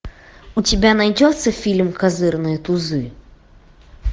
у тебя найдется фильм козырные тузы